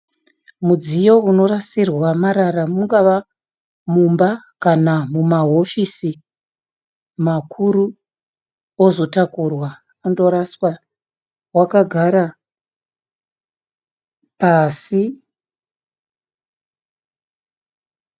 Mudziyo unorasirwa marara mungava Mumba kana mumahofisi makuru ozotakurwa ondoraswa. Wakagara pasi.